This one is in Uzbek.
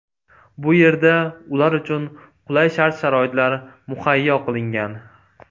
Bu yerda ular uchun qulay shart-sharoitlar muhayyo qilingan.